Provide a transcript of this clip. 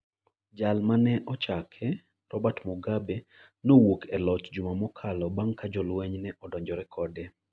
jal mane ochake, Robert Mugabe, nowuok e loch juma mokalo bang' ka jolweny ne odonjore kode